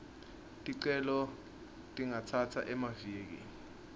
ticelo tingatsatsa emaviki